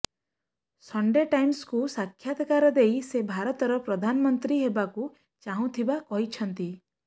Sunday ଟାଇମ୍ସକୁ ସାକ୍ଷାତକାର ଦେଇ ସେ ଭାରତର ପ୍ରଧାନମନ୍ତ୍ରୀ ହେବାକୁ ଚାହୁଁଥିବା କହିଛନ୍ତି